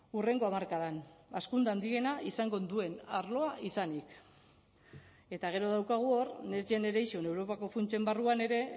hurrengo hamarkadan hazkunde handiena izango duen arloa izanik eta gero daukagu hor next generation europako funtsen barruan ere